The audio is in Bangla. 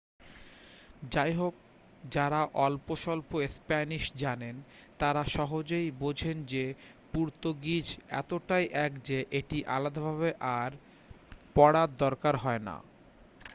যাইহোক যারা অল্পস্বল্প স্প্যানিশ জানেন তারা় সহজেই বোঝেন যে পর্তুগিজ এতটাই এক যে এটি আলাদাভাবে আর পড়ার দরকার হয় না।